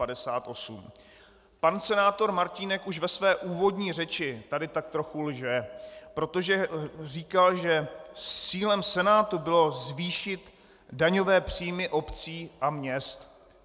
Pan senátor Martínek už ve své úvodní řeči tady tak trochu lže, protože říkal, že cílem Senátu bylo zvýšit daňové příjmy obcí a měst.